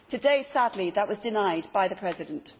Today, sadly, that was denied by the President.